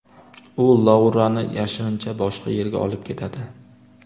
U Laurani yashirincha boshqa yerga olib ketadi.